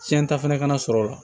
Tiɲɛ ta fɛnɛ kana sɔrɔ o la